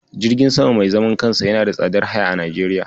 Jirgin sama mai zaman kansa yana da tsadar haya a Najeriya.